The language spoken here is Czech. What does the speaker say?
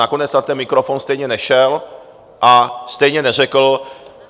Nakonec na ten mikrofon stejně nešel a stejně neřekl...